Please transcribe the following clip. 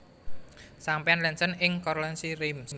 Sampanye Lanson ing Courlancy Reims